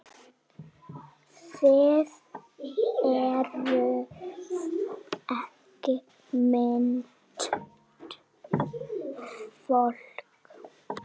Þið eruð ekki mitt fólk.